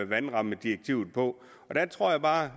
vandrammedirektivet på jeg tror bare